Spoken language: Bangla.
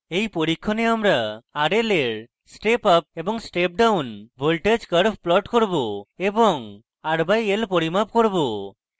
in পরীক্ষণে আমরা